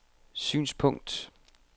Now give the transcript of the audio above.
synspunkt